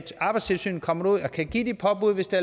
arbejdstilsynet kommer derud og kan give de påbud hvis det